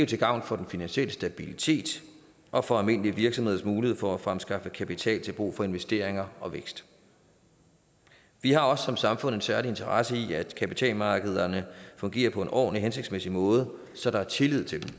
til gavn for den finansielle stabilitet og for almindelige virksomheders muligheder for at fremskaffe kapital til brug for investeringer og vækst vi har også som samfund en særlig interesse i at kapitalmarkederne fungerer på en ordentlig og hensigtsmæssig måde så der er tillid til